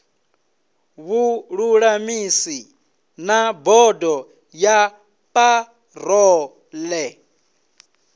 vhululamisi na bodo ya parole